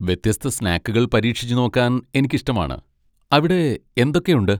വ്യത്യസ്ത സ്നാക്കുകൾ പരീക്ഷിച്ചുനോക്കാൻ എനിക്ക് ഇഷ്ടമാണ്, അവിടെ എന്തൊക്കെ ഉണ്ട്?